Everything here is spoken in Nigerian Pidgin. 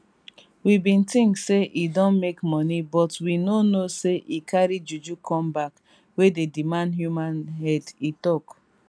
we bin tink say e don make money but we no know say e carry juju come back wey dey demand human head e tok